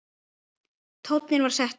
Tónninn var settur.